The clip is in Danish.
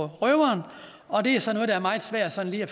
røveren og det er sådan noget der er meget svært sådan lige at